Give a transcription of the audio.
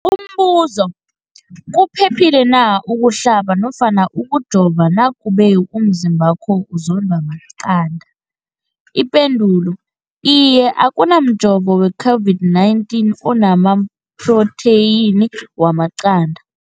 Umbuzo, kuphephile na ukuhlaba nofana ukujova nakube umzimbakho uzondwa maqanda. Ipendulo, Iye. Akuna mjovo we-COVID-19 ona maphrotheyini wamaqanda.